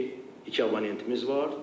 Deyək ki, iki abonentimiz var.